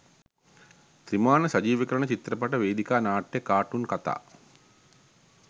ත්‍රිමාණ සජීවිකරණ චිත්‍රපට වේදිකා නාට්‍ය කාටුන් කතා